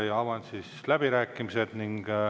Avan läbirääkimised.